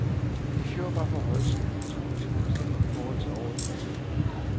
I fjor var forhøjelsen på toogtyve procent i forhold til året før.